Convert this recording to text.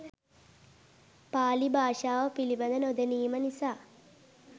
පාලි භාෂාව පිළිබඳ නොදැනීම නිසා